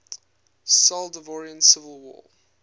salvadoran civil war